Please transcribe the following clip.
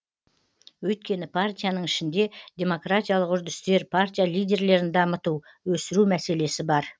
өйткені партияның ішінде демократиялық үрдістер партия лидерлерін дамыту өсіру мәселесі бар